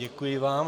Děkuji vám.